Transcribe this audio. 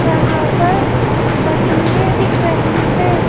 यहाँ पर मछली दिख रही है।